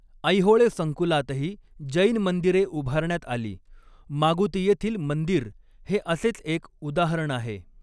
ऐहोळे संकुलातही जैन मंदिरे उभारण्यात आली, मागुती येथील मंदिर हे असेच एक उदाहरण आहे.